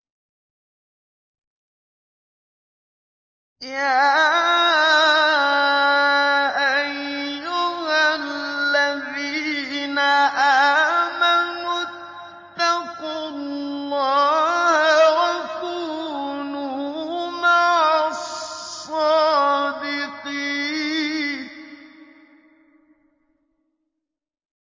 يَا أَيُّهَا الَّذِينَ آمَنُوا اتَّقُوا اللَّهَ وَكُونُوا مَعَ الصَّادِقِينَ